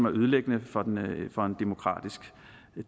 ødelæggende for en demokratisk